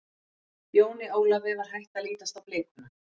Jóni Ólafi var hætt að lítast á blikuna.